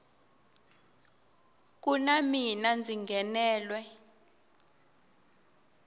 ku na mina ndzi nghenelwe